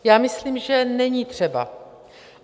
Já myslím, že není třeba.